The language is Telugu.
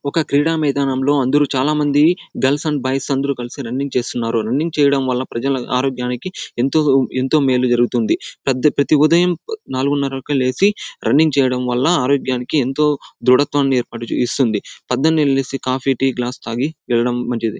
ఒక క్రీడా మైదానం లో అందరూ చాలా మంది గర్ల్స్ అండ్ బాయ్స్ అందరూ కలసి రన్నింగ్ చేస్తున్నారు రన్నింగ్ చేయడం వళ్ళ ప్రజలు ఆరోగ్యానికి ఎంతో ఎంతో మేలు జరుగుతుంది. పేద ప్రతి ఉదయం నాలుగున్నర కి లేసి రన్నింగ్ చేయడం వళ్ళ ఆరోగ్యానికి ఎంతో దృఢత్వాన్ని ఏర్పడు ఇస్తుంది. పొద్దున్నే లేచి కాఫీ టీ గ్లాస్ తాగి వెళ్లడం మంచిది.